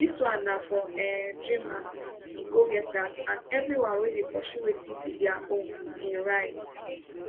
dis one na for um dreamers di go getters and everyone wey dey pursue wetin be dia ownim write